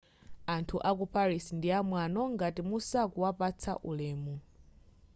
anthu aku paris ndi amwano ngati musakuwapatsa ulemu